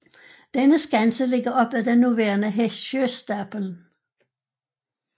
Denne skanse ligger op ad den nuværende Håsjöstapeln